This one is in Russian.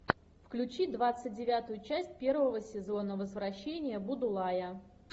включи двадцать девятую часть первого сезона возвращение будулая